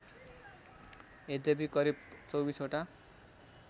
यद्यपि करिब २५ वटा